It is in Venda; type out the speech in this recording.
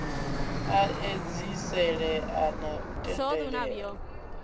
a edziselea na u tendelela